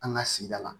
An ka sigida la